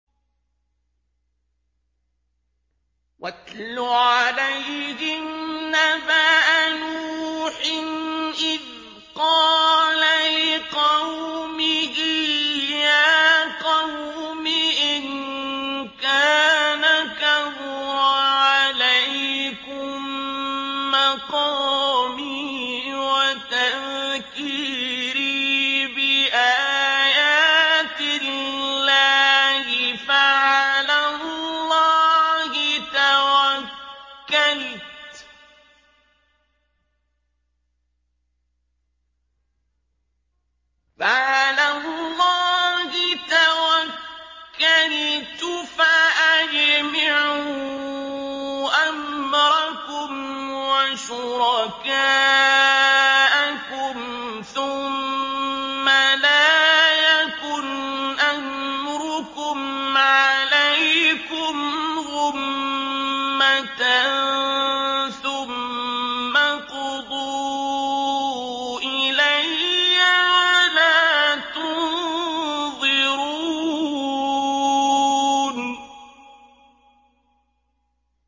۞ وَاتْلُ عَلَيْهِمْ نَبَأَ نُوحٍ إِذْ قَالَ لِقَوْمِهِ يَا قَوْمِ إِن كَانَ كَبُرَ عَلَيْكُم مَّقَامِي وَتَذْكِيرِي بِآيَاتِ اللَّهِ فَعَلَى اللَّهِ تَوَكَّلْتُ فَأَجْمِعُوا أَمْرَكُمْ وَشُرَكَاءَكُمْ ثُمَّ لَا يَكُنْ أَمْرُكُمْ عَلَيْكُمْ غُمَّةً ثُمَّ اقْضُوا إِلَيَّ وَلَا تُنظِرُونِ